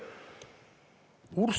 Palun!